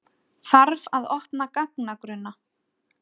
Þarf að opna gagnagrunna